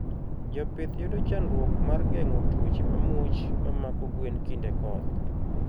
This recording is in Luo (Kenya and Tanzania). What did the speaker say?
Jopith yudo chandruok mar gengo tuoche mamuoch mamako gwen kinde koth